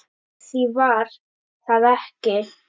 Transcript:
Því var það ekki